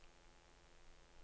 Noko blir borte når du er nær.